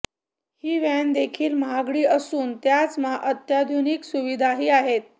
ही van देखील महागडी असून त्याच अत्याधुनिक सुविधाही आहेत